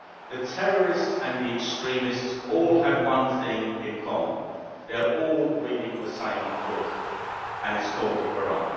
The terrorists and the extremists all have one thing in common they are all reading the same book, and it is called the Koran.